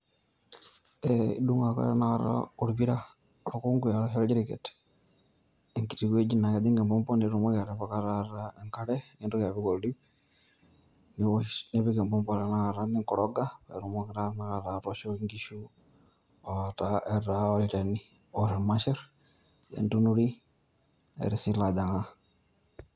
Eh idung' ake tanakata orpira, orkunku ashu orjiriket, enkiti wueji naa kejing' empompo nitumoki atipika taata enkare, nintoki apik oldiip, niwosh nipik empompo tanakata ningoroga, paitumoki taa tanakata atooshoki nkishu etaa olchani oar irmasher, entunurui, ner si ilajang'a.